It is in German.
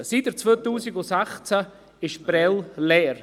Seit 2016 steht Prêles leer.